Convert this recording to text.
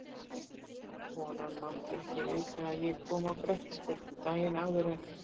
Konan mátti ekki vita að ég kom á Grettisgötu daginn áður en